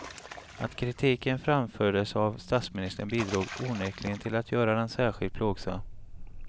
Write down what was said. Att kritiken framfördes av statsministern bidrog onekligen till att göra den särskilt plågsam.